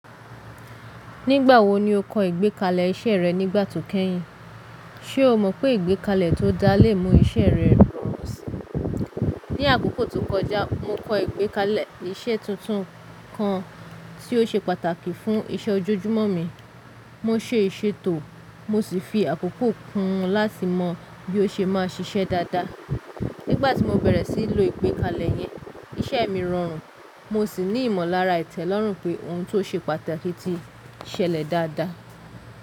Nígbà wo ni o kọ ìgbékalẹ̀ iṣẹ́ rẹ nígbà to kẹ́yìn? Ṣé o mọ̀ pé ìgbékalẹ̀ tó dáa lè mú iṣẹ́ rẹ rọrùn síi? Ní àkókò tó kọjá, mo kọ ìgbékalẹ̀ iṣẹ́ tuntun kan tí ó ṣe pàtàkì fún iṣẹ́ ojoojúmọ́ mi. Mo se ìṣètò, mo sì fi àkókò kún un láti mọ bí ó ṣe máa ṣiṣẹ́ dáadáa. Nígbà tí mo bẹ̀rẹ̀ sí í lo ìgbékalẹ̀ yẹn, iṣẹ́ mi rọrùn, mo sì ní ìmọ̀lára ìtẹ́lọ́rùn pé ohun tó ṣe pàtàkì ti ṣẹlẹ̀ dáadáa.